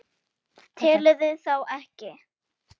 Telurðu þá ekki?